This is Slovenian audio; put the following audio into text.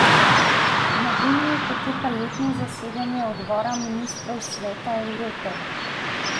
Na Dunaju poteka letno zasedanje Odbora ministrov Sveta Evrope.